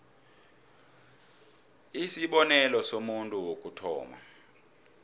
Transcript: isibonelo somuntu wokuthoma